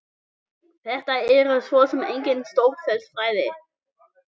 Þetta eru svo sem engin stórfelld fræði.